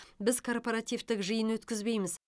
біз корпоративтік жиын өткізбейміз